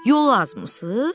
Yolu azmısınız?